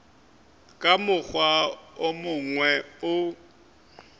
ka mokgwa wo mongwe o